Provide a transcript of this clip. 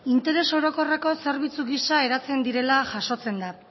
interes orokorreko zerbitzu gisa eratzen direla jasotzen da